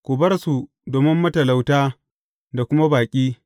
Ku bar su domin matalauta da kuma baƙi.